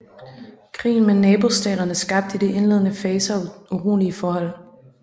Krigen med nabostaterne skabte i de indledende faser urolige forhold